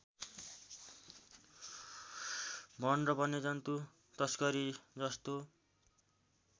वन र वन्यजन्तु तस्करी जस्तो